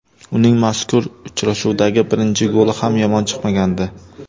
Uning mazkur uchrashuvdagi birinchi goli ham yomon chiqmagandi.